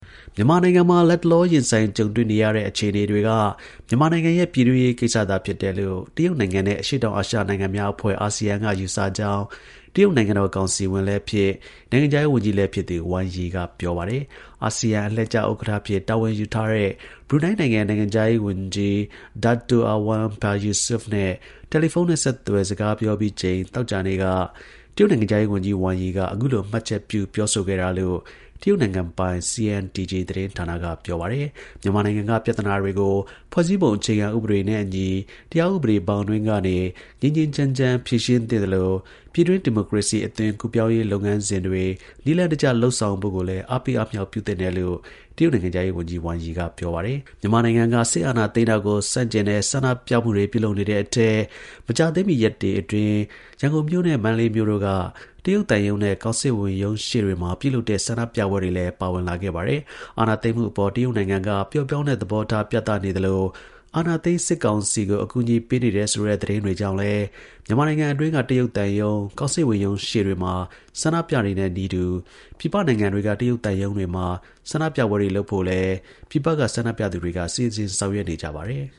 မြန်မာနိုင်ငံမှာ လတ်တလောရင်ဆိုင်ကြုံတွေ့နေရတဲ့ အခြေအနေတွေက မြန်မာနိုင်ငံရဲ့ ပြည်တွင်းရေးကိစ္စသာဖြစ်တယ်လို့ တရုတ် နိုင်ငံနဲ့ အရှေ့တောင်အာရှနိုင်ငံများအဖွဲ့ (ASEAN) က ယူဆကြောင်းတရုတ်နိုင်ငံတော် ကောင်စီဝင်လည်း ဖြစ် နိုင်ငံခြားရေး ဝန်ကြီး လည်း ဖြစ်သူ Wang Yi က ပြောပါတယ်။ အာဆီယံ အလှည့်ကျ ဥက္ကဌ အဖြစ်တာဝန်ယူထားတဲ့ ဘရူနိုင်းနိုင်ငံခြားရေးဝန်ကြီး II Dato Erywan Pehin Yusof နဲ့ တယ်လီဖုန်းနဲ့ ဆက်သွယ်စကားပြောပြီးချိန် သောကြာနေ့က တရုတ် နိုင်ငံခြားရေးဝန်ကြီး Wang Yi က အခုလိုမှတ်ချက်ပြုပြောဆိုခဲ့တာလို့ တရုတ် နိုင်ငံပိုင် CNTG သတင်းဌာနက ပြောပါတယ်။ မြန်မာနိုင်ငံက ပြဿနာတွေကို ဖွဲ့စည်းပုံအခြေခံဥပဒေနဲ့ အညီ တရားဥပဒေဘောင်အတွင်းကနေ ငြိမ်းငြိမ်းချမ်းချမ်း ဖြေရှင်း သင့် သလို ပြည်တွင်း ဒီမိုကရေစီအသွင်ကူးပြောင်းရေးလုပ်ငန်းစဉ်တွေ နည်းလမ်းတကျ လုပ်ဆောင်ဖို့ကိုလည်း အားပေးအားမြှောက် ပြု သင့်တယ် တရုတ်နိုင်ငံခြားရေးဝန်ကြီး Wang Yi က ပြောပါတယ်။ မြန်မာနိုင်ငံက စစ်အာဏာသိမ်းတာကို ဆန့်ကျင်တဲ့ ဆန္ဒပြပွဲတွေအထဲ မကြာသေးမီ ရက်တွေအတွင်း ရန်ကုန်မြို့နဲ့ မန္တလေးမြို့တို့က တရုတ်သံရုံးနဲ့ ကောင်စစ်ဝန် ရုံးရှေ့တွေမှာ ပြုလုပ်တဲ့ ဆန္ဒပြပွဲတွေလည်း ပါဝင်လာခဲ့ပါတယ်။ အာဏာသိမ်းမှုအပေါ် တရုတ်နိုင်ငံက ပျော့ပြောင်းတဲ့ သဘောထား ပြသနေသလို အာဏာသိမ်း စစ်ကောင်စီကို အကူအညီပေးနေတယ်ဆိုတဲ့ သတင်းတွေကြောင့်လည်း မြန်မာနိုင်ငံအတွင်းက တရုတ် သံရုံး၊ ကောင်စစ်ဝန် ရုံးတွေရှေ့မှာဆန္ဒပြတဲ့နည်းတူ ပြည်ပနိုင်ငံတွေက တရုတ် သံရုံးတွေမှာ ဆန္ဒ ပြပွဲတွေလုပ်ဖို့လည်း ပြည်ပက ဆန္ဒပြသူတွေက စီစဉ်ဆောင်ရွက်နေကြပါတယ်။